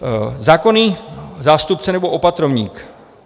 Zákonný zástupce nebo opatrovník.